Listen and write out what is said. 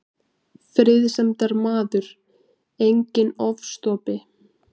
Friðsemdarmaður, enginn ofstopi.